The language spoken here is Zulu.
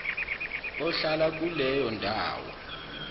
ohlala kuleyo ndawo